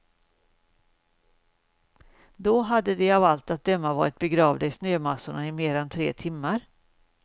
Då hade de av allt att döma varit begravda i snömassorna i mer än tre timmar.